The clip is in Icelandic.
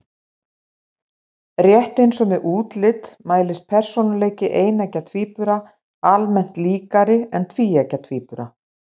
Rétt eins og með útlit mælist persónuleiki eineggja tvíbura almennt líkari en tvíeggja tvíbura.